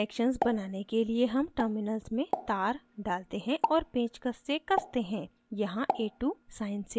connections बनाने के लिए हम terminals में to डालते हैं और पेंचकस से कसते हैं यहाँ a2 sine से जोड़ा गया है